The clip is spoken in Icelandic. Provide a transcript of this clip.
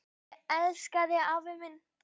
Ég elska þig afi minn.